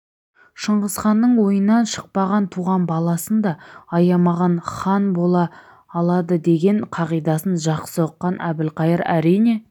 шыңғысханның ойынан шықпаған туған баласын да аямаған хан бола алады деген қағидасын жақсы ұққан әбілқайыр әрине